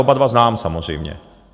Oba dva znám samozřejmě.